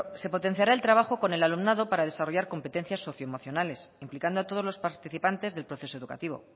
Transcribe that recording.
se potenciará el trabajo con el alumnado para desarrollar competencias socioemocionales implicando a todos los participantes del proceso educativo